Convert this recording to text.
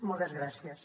moltes gràcies